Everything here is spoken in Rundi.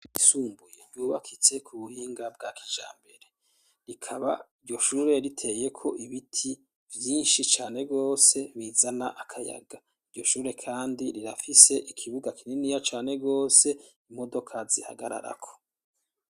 Isumbuye nyubakitse ku buhinga bwa kijambere, rikaba iryo shure riteye ko ibiti vyinshi cane gose bizana akayaga, iryo shure kandi rirafise ikibuga kininiya cane gose imodoka zihagararako.